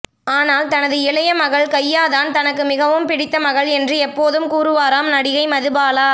ஆனால் தனது இளைய மகள் கையா தான் தனக்கு மிகவும் பிடித்த மகள் என்று எப்போதும் கூறுவாராம் நடிகை மதுபாலா